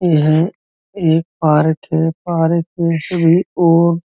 यह एक पार्क है। पार्क में सभी और --